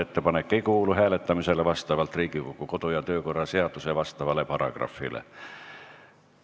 Ettepanek ei kuulu hääletamisele vastavalt Riigikogu kodu- ja töökorra seaduse asjaomasele paragrahvile.